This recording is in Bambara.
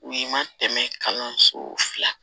U ma tɛmɛ kalanso fila